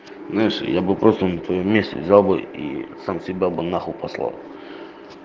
знаешь я бы просто на твоём месте взял бы и сам себя бы на хуй послал